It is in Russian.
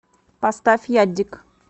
поставь ядигг